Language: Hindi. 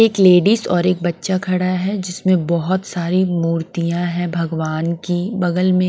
एक लेडीज और एक बच्चा खड़ा है जिसमें बहुत सारी मूर्तियां हैं भगवान की बगल में --